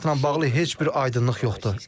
Formatla bağlı heç bir aydınlıq yoxdur.